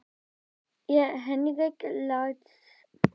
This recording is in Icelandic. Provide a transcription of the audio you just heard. Er Henrik Larsson á þeim lista?